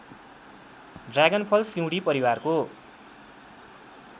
ड्रागनफल सिउँडी परिवारको